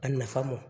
A nafa ma